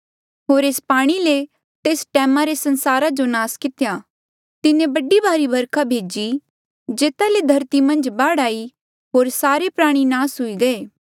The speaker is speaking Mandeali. होर एस पाणी ले तेस टैमा रे संसारा जो नास कितेया तिन्हें बड़ी भारी बरखा भेजी जेता ले धरती मन्झ बाढ़ आई होर सारे प्राणी नास हुई गये